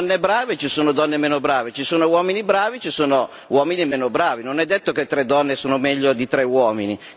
Ci sono donne brave e ci sono donne meno brave ci sono uomini bravi e ci sono uomini meno bravi. Non è detto che tre donne siano meglio di tre uomini.